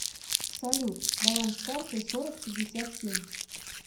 салют баланс карты сорок пятьдесят семь